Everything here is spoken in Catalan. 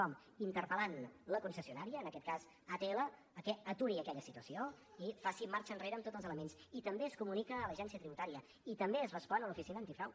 com interpel·lant la concessionària en aquest cas atll perquè aturi aquella situació i faci marxa enrere en tots els elements i també es comunica a l’agència tributària i també es respon a l’oficina antifrau